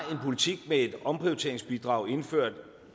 har en politik med et omprioriteringsbidrag indført